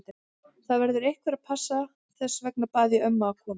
Það verður einhver að passa, þess vegna bað ég ömmu að koma.